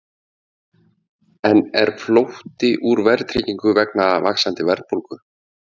En er flótti úr verðtryggingu vegna vaxandi verðbólgu?